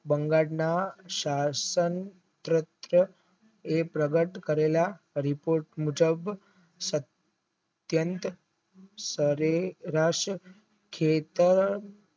બંગાળના સાસણ તૃપ્ત એ પ્રબંધ કરેલા રીતે મુજબ અતયન્ત સવેર્સ ખેતર